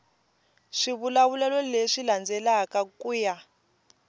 swivulavulelo leswi landzelaka ku ya